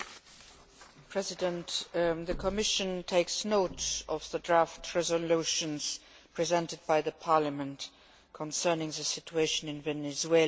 Mr President, the Commission takes note of the draft resolutions presented by Parliament concerning the situation in Venezuela.